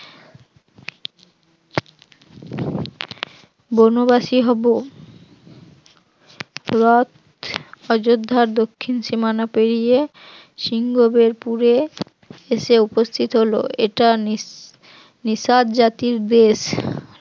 বনবাসী হব। রথ অযোধ্যার দক্ষিণ সীমানা পেরিয়ে সিংহবের পুরে এসে উপস্থিত হল। এটা নি নিচাঁদ জাতির দেশ